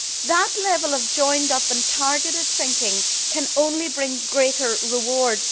That level of joined up and targeted thinking can only bring greater rewards.